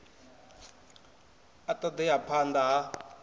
a ṱo ḓea phanḓa ha